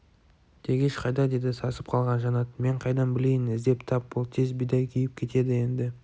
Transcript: тегеш қайда деді сасып қалған жанат мен қайдан білейін іздеп тап бол тез бидай күйіп кетеді енді